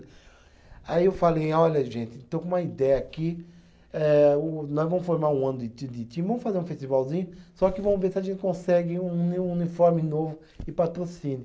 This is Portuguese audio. Aí eu falei, olha gente, estou com uma ideia aqui, eh o nós vamos formar um ano de ti de time, vamos fazer um festivalzinho, só que vamos ver se a gente consegue um uni, um uniforme novo e patrocínio.